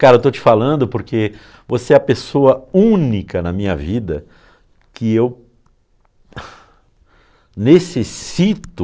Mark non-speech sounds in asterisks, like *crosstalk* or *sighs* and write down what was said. Cara, eu estou te falando porque você é a pessoa única na minha vida que eu *sighs* necessito...